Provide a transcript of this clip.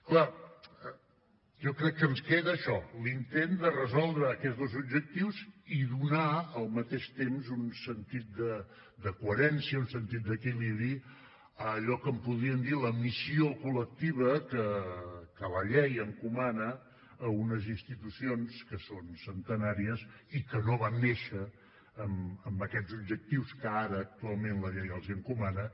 clar jo crec que ens queda això l’intent de resoldre aquests dos objectius i donar al mateix temps un sentit de coherència un sentit d’equilibri a allò que en podríem dir la missió col·lectiva que la llei encomana a unes institucions que són centenàries i que no van néixer amb aquests objectius que ara actualment la llei els encomana